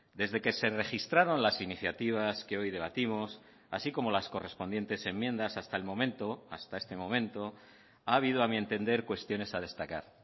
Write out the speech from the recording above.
desde que se registraron las iniciativas que hoy debatimos así como las correspondientes enmiendas hasta el momento hasta este momento ha habido a mi entender cuestiones a destacar